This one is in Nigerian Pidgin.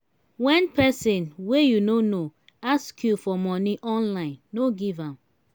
wen pesin wey you no know ask you for money online no give am.